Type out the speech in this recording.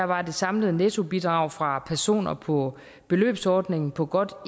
var det samlede nettobidrag fra personer på beløbsordningen på godt